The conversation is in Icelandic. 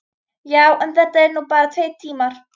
Já, en þetta eru nú bara tveir tímar.